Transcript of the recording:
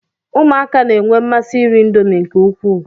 Ụmụaka na-enwe mmasị iri indomi nke ukwuu.